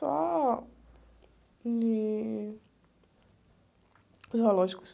Só... Em zoológicos.